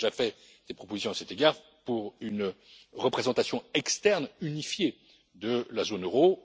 Nous avons déjà fait des propositions à cet égard pour une représentation externe unifiée de la zone euro.